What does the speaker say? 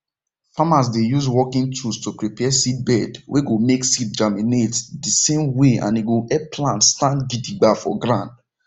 farmers dey use working tools to prepare seedbed wey go make seed germinate dey same way and e go help plant stand gidiba for ground